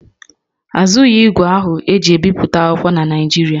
A zụghị ígwè ahụ e ji ebi akwụkwọ na Naịjirịa